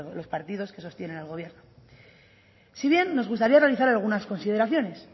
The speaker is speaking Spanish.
los partidos que sostienen al gobierno si bien nos gustaría realizar algunas consideraciones